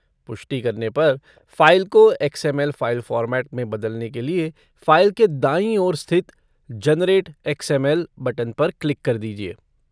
पुष्टि करने पर, फ़ाइल को एक्स.एम.एल. फ़ाइल फॉर्मेट में बदलने के लिए फ़ाइल के दाईं ओर स्थित 'जनरेट एक्स.एम.एल.' बटन पर क्लिक कर दीजिए।